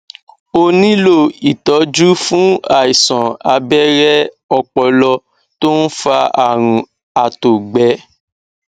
ó nílò ìtójú fún àìsàn abẹrẹ ọpọlọ tó ń fa àrùn àtògbẹ